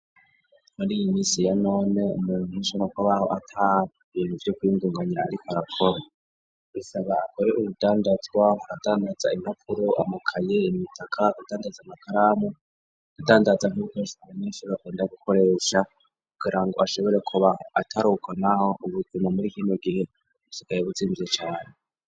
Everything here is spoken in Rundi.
mMri iyi misi ya none mu nkisho no ko baho ata ibintu vye kuy'indunganyira ari karaporo isaba akore ubudandazwa aradandaza imapuro amakaye imitaka gudandaza amakaramu atandatza nkucsenese bakunda gukoresha kugirango ashobore kuba ataruko naho ubutuma muri kintu gihe usikaye buzimvye cane.